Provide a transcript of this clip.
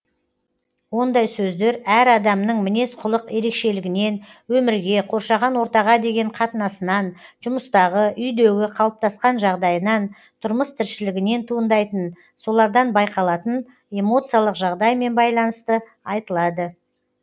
ондай сөздер әр адамның мінез құлық ерекшелігінен өмірге қоршаған ортаға деген қатынасынан жұмыстағы үйдегі қалыптасқан жағдайынан тұрмыс тіршілігінен туындайтын солардан байқалатын эмоциялық жағдаймен байланысты айтылады